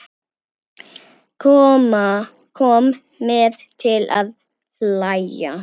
Kom mér til að hlæja.